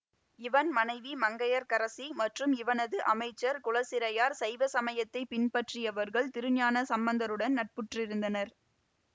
இவன் மனைவி மங்கையர்க்கரசி மற்றும் இவனது அமைச்சர் குலச்சிறையார் சைவ சமயத்தை பின்பற்றியவர்கள் திருஞான சம்பந்தருடன் நட்புற்றிருந்தனர்